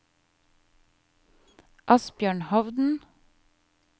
Asbjørn Hovden